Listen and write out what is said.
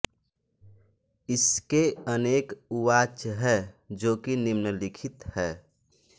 इसके अनेक उवाच हैं जो कि निम्नलिखित हैं